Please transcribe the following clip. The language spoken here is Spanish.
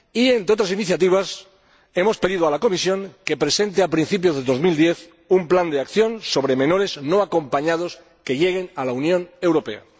Entre otras iniciativas, hemos pedido a la Comisión que presente, a principio de 2010, un plan de acción sobre menores no acompañados que lleguen a la Unión Europea.